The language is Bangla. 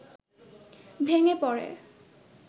ভেঙে পড়ে